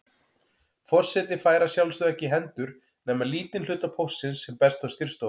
Forseti fær að sjálfsögðu ekki í hendur nema lítinn hluta póstsins sem berst á skrifstofuna.